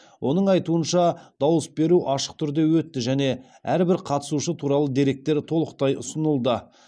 оның айтуынша дауыс беру ашық түрде өтті және әрбір қатысушы туралы деректер толықтай ұсынылды